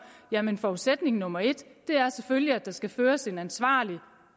jamen forudsætning nummer et er selvfølgelig at der skal føres en ansvarlig